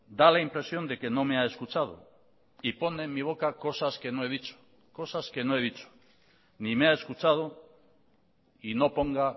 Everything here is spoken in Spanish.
da la impresión de que no me ha escuchado y pone en mi boca cosas que no he dicho cosas que no he dicho ni me ha escuchado y no ponga